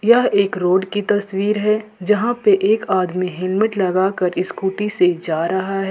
यह एक रोड की तस्वीर है जहां पे एक आदमी हेलमेट लगाकर स्कूटी से जा रहा है।